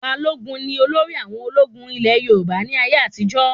Balógun ní olórí àwọn ológun ilé Yorùbá ní ayé àtijó